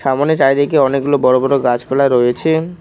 সামোনে চারিদিকে অনেকগুলো বড় বড় গাছপালা রয়েছে।